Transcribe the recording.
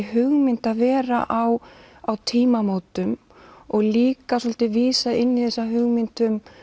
hugmynd að vera á á tímamótum og líka svolítið vísa inn í þessa hugmynd um